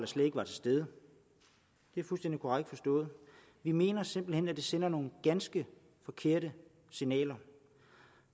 slet ikke var til stede det er fuldstændig korrekt forstået vi mener simpelt hen at det sender nogle ganske forkerte signaler